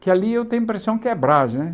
que ali eu tenho a impressão que é Braz né.